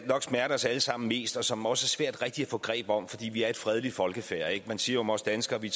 nok smerter os alle sammen mest og som også er svært rigtig at få greb om fordi vi er et fredeligt folkefærd man siger om os danskere at vi